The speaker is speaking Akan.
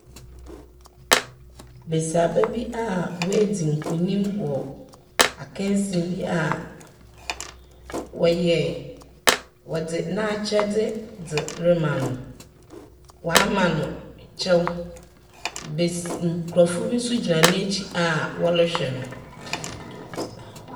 Besiaba bi a oedzi nkunim wɔ akansie bi a wɔyɛe. Wɔdze n'akyɛdze dze rema no. Wɔama no kyɛw. Bes nkorɔfo bi nso gyina n'ekyir a wɔrehwɛ no.